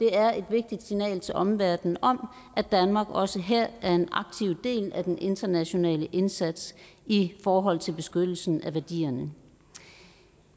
er et vigtigt signal til omverdenen om at danmark også her er en aktiv del af den internationale indsats i forhold til beskyttelsen af værdierne